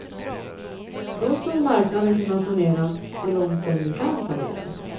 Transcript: Då skulle marknaden kunna saneras så långt den nu kan saneras.